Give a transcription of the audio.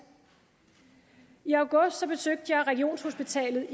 i august besøgte jeg regionshospitalet